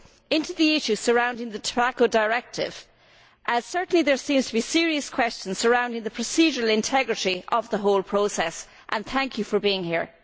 into the issues surrounding the Tobacco Directive, as certainly there seem to be serious questions surrounding the procedural integrity of the whole process. I wish to thank the Ombudsman for being here.